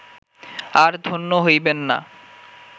আর ধন্য হইবেন না